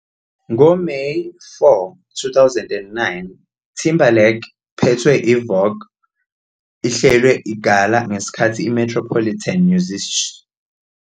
Ngo-May 4, 2009, Timberlake phethwe Vogue ihlelwe gala ngesikhathi iMetropolitan Museum of New York. 50